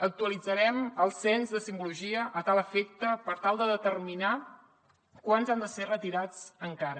actualitzarem el cens de simbologia a tal efecte per tal de determinar quants han de ser retirats encara